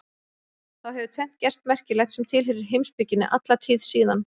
Þá hefur tvennt gerst merkilegt sem tilheyrir heimspekinni alla tíð síðan.